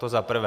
To zaprvé.